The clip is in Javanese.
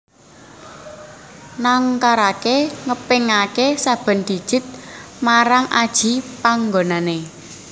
Nangkaraké ngepingaké saben digit marang aji panggonané